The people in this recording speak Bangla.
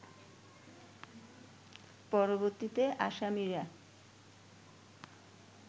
পরবর্তীতে আসামিরা